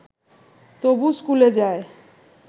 তবু স্কুলে যায়